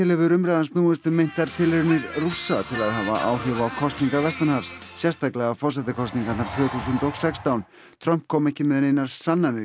hefur umræðan snúist um meintar tilraunir Rússa til að hafa áhrif á kosningar vestanhafs sérstaklega forsetakosningarnar tvö þúsund og sextán Trump kom ekki með neinar sannanir